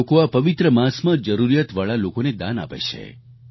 લોકો આ પવિત્ર માસમાં જરૂરિયાતવાળા લોકોને દાન આપે છે